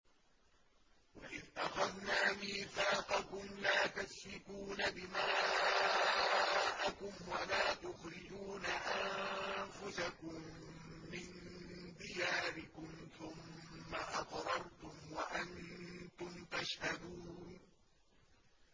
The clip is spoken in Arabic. وَإِذْ أَخَذْنَا مِيثَاقَكُمْ لَا تَسْفِكُونَ دِمَاءَكُمْ وَلَا تُخْرِجُونَ أَنفُسَكُم مِّن دِيَارِكُمْ ثُمَّ أَقْرَرْتُمْ وَأَنتُمْ تَشْهَدُونَ